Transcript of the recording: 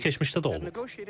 Bu keçmişdə də olub.